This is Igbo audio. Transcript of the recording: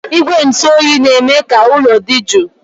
Igwe ntụ oyi na-eme ka ụlọ dị jụụ